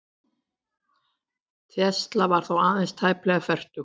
Tesla var þá aðeins tæplega fertugur.